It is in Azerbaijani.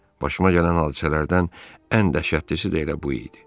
Başıma gələn hadisələrdən ən dəhşətlisi də elə bu idi.